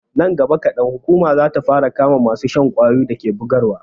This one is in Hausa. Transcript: Nan gaba kadan, hukuma za ta fara kama masu shan ƙwayoyin da ke bugarwa.